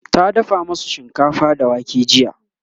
ta dafa masu shinkafa da wake jiya